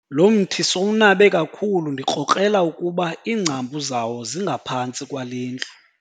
Lo mthi sowunabe kakhulu ndikrokrela ukuba iingcambu zawo zingaphantsi kwale ndlu.